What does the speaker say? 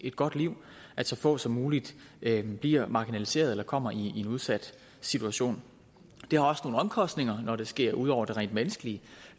et godt liv at så få som muligt bliver marginaliseret eller kommer i en udsat situation det har også nogle omkostninger når det sker ud over det rent menneskelige